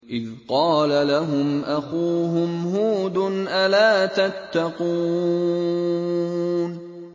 إِذْ قَالَ لَهُمْ أَخُوهُمْ هُودٌ أَلَا تَتَّقُونَ